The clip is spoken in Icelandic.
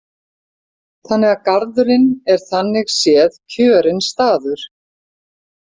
Þannig að garðurinn er þannig séð kjörinn staður.